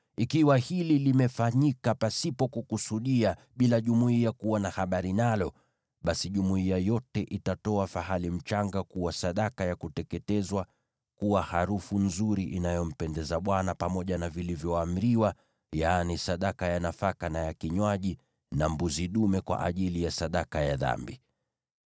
ikiwa hili limefanyika pasipo kukusudia bila jumuiya kuwa na habari nalo, basi jumuiya yote itatoa fahali mchanga kuwa sadaka ya kuteketezwa ikiwa harufu nzuri inayompendeza Bwana , pamoja na sadaka ya nafaka na ya kinywaji zilizoamriwa kwayo, na mbuzi dume kwa ajili ya sadaka ya dhambi.